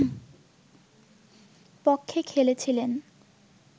পক্ষে খেলেছিলেন